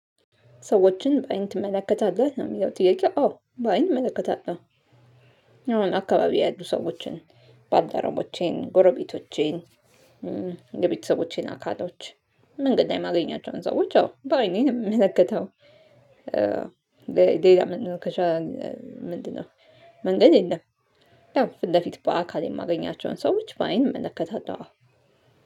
ሰዎችን በአይን ትመለከታለህ ነው የሚለው ጥያቄ አዎ በአይን እመለከታለሁ። አሁን አካባቢ ያሉ ሰዎችን ባልደርቦቼን ጎረቤቶቼን የቤተሰቦቼን አካሎች መንገድ ላይ ማገኛቸውን ሰዎች አዎ በአይኔ ነው የምመለከተው። ሌላ ምንድነው ከሻ ምንድነው? መንገድ የለም። ያው ፊት ለፊት በአካል የማገኛቸውን ሰዎች በአይን እመለከታለሁ።